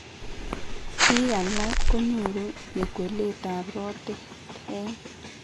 Bik alak konyoru nyekwelet ab rotet en